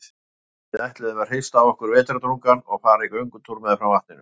Við ætluðum að hrista af okkur vetrardrungann og fara í göngutúr meðfram vatninu.